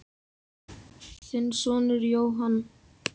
Þinn sonur Jóhann.